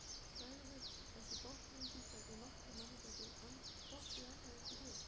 Segðust ekki botna í því, hvernig nokkrum manni gæti dottið annað eins í hug.